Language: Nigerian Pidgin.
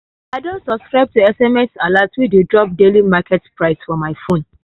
i don subscribe to sms alert wey dey drop daily market price for my phone.